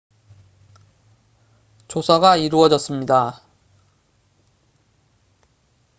조사가 이루어졌습니다